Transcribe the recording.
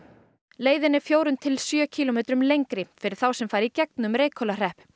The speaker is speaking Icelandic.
leiðin er fjórum til sjö kílómetrum lengri fyrir þá sem fara í gegnum Reykhólahrepp